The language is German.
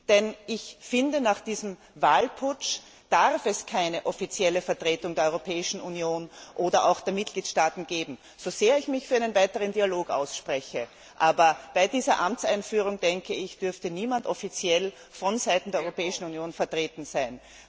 Denn ich finde, nach diesem Wahlputsch darf es keine offizielle Vertretung der Europäischen Union oder auch der Mitgliedstaaten geben, so sehr ich mich für einen weiteren Dialog ausspreche, aber bei dieser Amtseinführung dürfte niemand offiziell von Seiten der Europäischen Union vertreten sein.